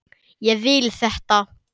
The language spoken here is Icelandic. Ég vil þetta.